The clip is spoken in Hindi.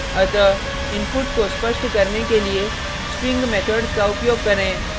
अतः इनपुट को स्पष्ट करने के लिए string methods का उपयोग करें